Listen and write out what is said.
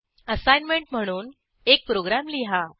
assignment म्हणून एक program लिहा